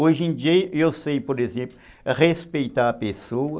Hoje em dia eu sei, por exemplo, respeitar a pessoa.